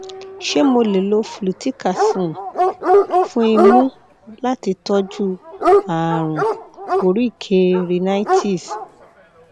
ni awọn oogun wọnyi o yẹ um ki um o bẹrẹ lati mu iṣan iṣan ef pọ si